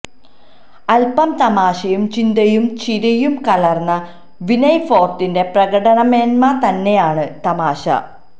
അല്പം തമാശയും ചിന്തയും ചിരിയും കലര്ന്ന വിനയ് ഫോര്ട്ടിന്റെ പ്രകടനമേന്മ തന്നെയാണ് തമാശ